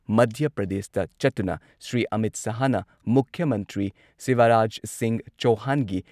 ꯃꯙ꯭ꯌ ꯄ꯭ꯔꯗꯦꯁꯇ ꯆꯠꯇꯨꯅ ꯁ꯭ꯔꯤ ꯑꯃꯤꯠ ꯁꯍꯥꯍꯅ ꯃꯨꯈ꯭ꯌ ꯃꯟꯇ꯭ꯔꯤ ꯁꯤꯕꯔꯥꯖ ꯁꯤꯡꯍ ꯆꯧꯍꯥꯟꯒꯤ